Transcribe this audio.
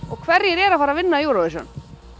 og hverjir eru að fara að vinna Eurovision